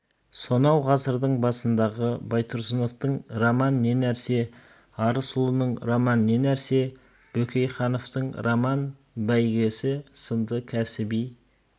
сонау ғасырдың басындағы байтұрсыновтың роман не нәрсе арысұлының роман не нәрсе бөкейхановтың роман бәйгесі сынды кәсіби